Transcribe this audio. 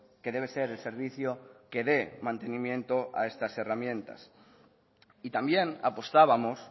que debe ser el servicio que dé mantenimiento a estas herramientas y también apostábamos